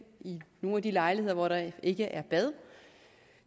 nogle af de lejligheder hvor der ikke er bad